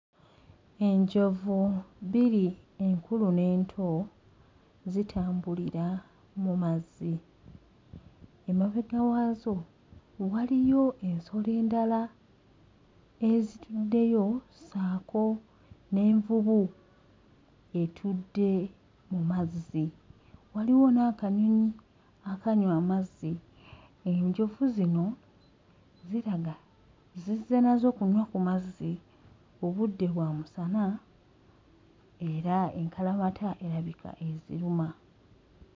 Enjovu bbiri enkulu n'ento zitambulira mu mazzi, emabega waazo waliyo ensolo endala ezituddeyo ssaako n'envubu etudde mu mazzi, waliwo n'akanyonyi akanywa amazzi. Enjovu zino ziraga zizze nazo kunywa ku mazzi; obudde bwa musana era enkalamata erabika eziruma.